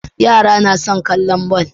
Yara na son kallon ball